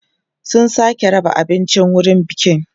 su Suka raba abinci a wurin bikin